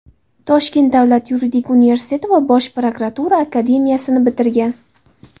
Toshkent davlat yuridik universiteti va Bosh prokuratura akademiyasini bitirgan.